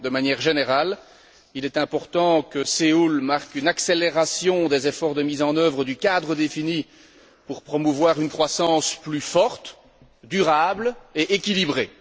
De manière générale, il est important que Séoul marque une accélération des efforts de mise en œuvre du cadre défini pour promouvoir une croissance plus forte, durable et équilibrée.